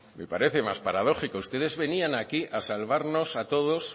me parece más paradójico ustedes venían aquí a salvarnos a todos